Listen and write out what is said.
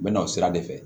N bɛ na o sira de fɛ